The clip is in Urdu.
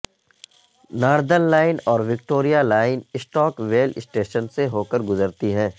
ناردرن لائن اور Victoria line Stockwell station سے ہو کر گزرتی ہیں